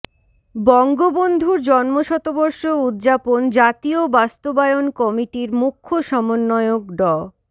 বঙ্গবন্ধুর জন্মশতবর্ষ উদযাপন জাতীয় বাস্তবায়ন কমিটির মুখ্য সমন্বয়ক ড